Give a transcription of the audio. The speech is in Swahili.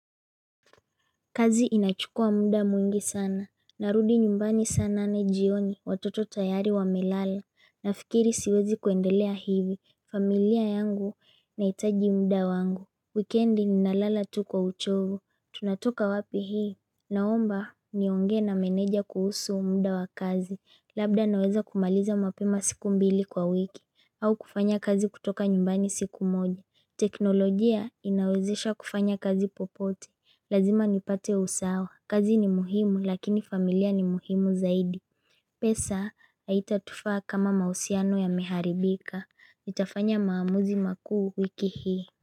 Kazi inachukua muda mwingi sana. Narudi nyumbani saa nane jioni watoto tayari wa melala. Nafikiri siwezi kuendelea hivi. Familia yangu na itaji muda wangu. Weekendi ninalala tu kwa uchovu. Tunatoka wapi hii? Naomba niongee na meneja kuhusu muda wa kazi. Labda naweza kumaliza mapema siku mbili kwa wiki. Au kufanya kazi kutoka nyumbani siku moja. Teknolojia inawezesha kufanya kazi popote. Lazima nipate usawa, kazi ni muhimu lakini familia ni muhimu zaidi pesa, haita tufaa kama mausiano ya miharibika, nitafanya maamuzi makuu wiki hii.